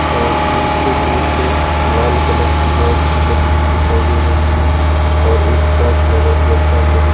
और नीचे एक लाल कलर की मॅट भी लगी हुई दिखाई दे रही है और एक काच लगा हुआ सा सामने दिख --